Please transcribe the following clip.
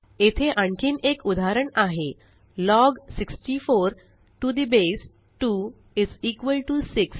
येथे आणखीन एक उदाहरण आहे log 64 to the base 2 is equal to 6